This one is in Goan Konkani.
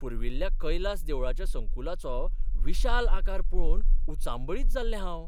पुर्विल्ल्या कैलास देवळाच्या संकुलाचो विशाल आकार पळोवन उचांबळीत जाल्लें हांव!